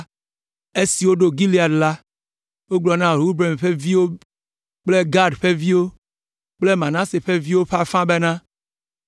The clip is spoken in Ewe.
Esi woɖo Gilead la, wogblɔ na Ruben ƒe viwo kple Gad ƒe viwo kple Manase ƒe viwo ƒe afã bena,